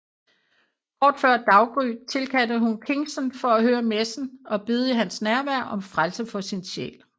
Kort før daggry tilkaldte hun Kingston for at høre messen og bede i hans nærvær om frelse for sin sjæl